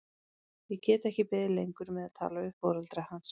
Ég get ekki beðið lengur með að tala við foreldra hans.